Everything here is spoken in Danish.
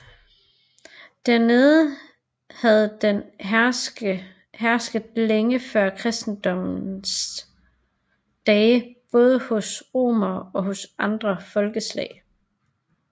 Dernede havde den hersket længe før kristendommens dage både hos romerne og andre folkeslag